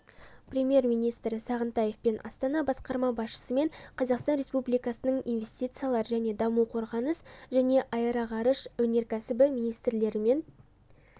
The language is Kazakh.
премьер-министрі сағынтаевпен астана басқарма басшысымен қазақстан республикасының инвестициялар және даму қорғаныс және аэроғарыш өнеркәсібі министрлерімен